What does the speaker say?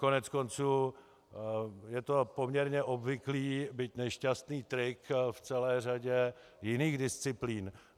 Koneckonců je to poměrně obvyklý, byť nešťastný trik v celé řadě jiných disciplín.